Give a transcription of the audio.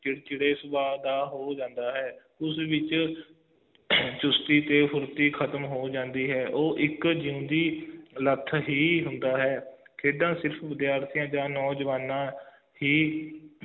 ਚਿੜਚਿੜੇ ਸੁਬਹ ਦਾ ਹੋ ਜਾਂਦਾ ਹੈ ਉਸ ਵਿਚ ਚੁਸਤੀ ਤੇ ਫੁਰਤੀ ਖਤਮ ਹੋ ਜਾਂਦੀ ਹੈ ਤੇ ਉਹ ਇੱਕ ਜਿੰਦੀ ਲੱਥ ਹੀ ਹੁੰਦਾ ਹੈ ਖੇਡਾਂ ਸਿਰਫ ਵਿਦਿਆਰਥੀਆਂ ਆ ਨੌਜਵਾਨਾਂ ਹੀ